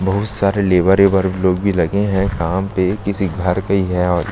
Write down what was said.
बहुत सारे लेवर एवर लोग भी लगे है काम पे किसी घर के ही हैं और--